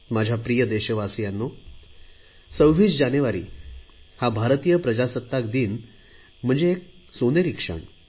माझ्या प्रिय देशवासियांनो 26 जानेवारी हा भारतीय प्रजासत्ताक दिन म्हणजे एक सोनेरी क्षण आहे